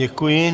Děkuji.